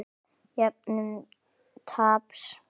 Jöfnun taps.